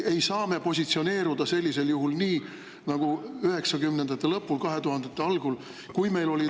Ei saa me positsioneeruda sellisel juhul nii nagu 1990-ndate lõpul, 2000-ndate algul, kui meil olid …